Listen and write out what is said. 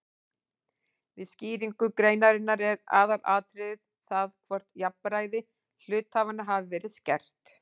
Við skýringu greinarinnar er aðalatriðið það hvort jafnræði hluthafanna hafi verið skert.